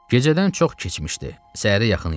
Gecədən çox keçmişdi, səhərə yaxın idi.